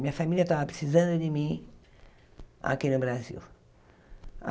Minha família estava precisando de mim aqui no Brasil.